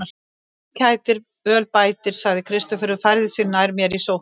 Öl kætir, öl bætir, sagði Kristófer og færði sig nær mér í sóffanum.